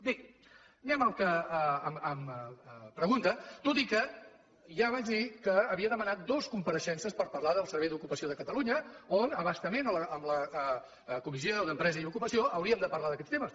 bé anem al que em pregunta tot i que ja vaig dir que havia demanat dues compareixences per parlar del servei d’ocupació de catalunya on a bastament en la comissió d’empresa i ocupació hauríem de parlar d’aquests temes